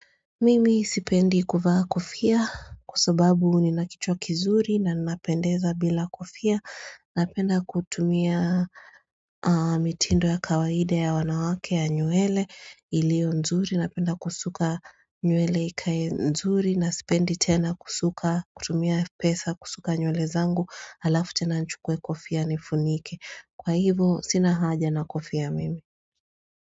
Mimi sipendi kuvaa kofia, kwa sababu nina kichwa kizuri na ninapendeza bila kofia, napenda kutumia mitindo ya kawaide ya wanawake ya nywele ilio nzuri, napenda kusuka nywele ikae nzuri na sipendi tena kusuka, kutumia pesa, kusuka nywele zangu, halafu tena nichukue kofia nifunike. Kwa hivyo sina haja na kofia mimi.